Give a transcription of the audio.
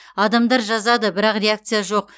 адамдар жазады бірақ реакция жоқ